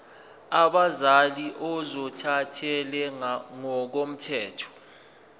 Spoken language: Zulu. abazali ozothathele ngokomthetho